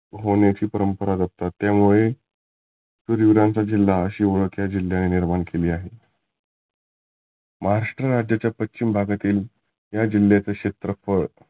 होण्याची परंपरा जपतात त्यामुले शुर विरांचा जिल्हा आशी ओळख या जिल्ह्याने केली आहे. महाराष्ट्र राज्यातील पश्चिम भागातील या जिल्ह्याचे क्षेत्रफळ